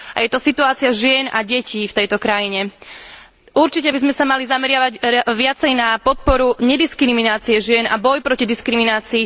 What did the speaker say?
Je to situácia žien a detí v tejto krajine. Určite by sme sa mali zameriavať viacej na podporu nediskriminácie žien a boj proti diskriminácii.